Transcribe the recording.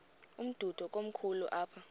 umdudo komkhulu apha